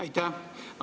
Aitäh!